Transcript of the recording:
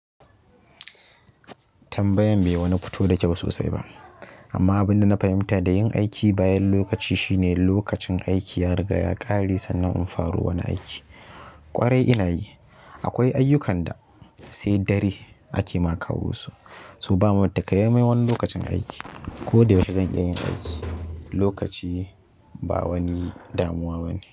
Tambayan bai wani futo da kyau sosai ba amma abinda na fahimta da yin aiki bayan lokaci shine lokacin aiki ya riga ya kare sannan in faro wani aiki ƙwarai ina yi. Akwai ayyukan da sai dare ake ma kawo su, so bamu takamaimai wani lokacin aiki. Ko da yaushe zan iya yin aiki, lokaci ba wani damuwa bane.